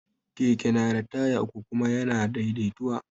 Keke na da taya uku kuma ya na daidaituwa